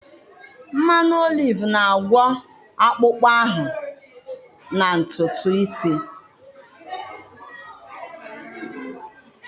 Mmanụ oliv na-agwọ akpụkpọ ahụ na ntutu isi.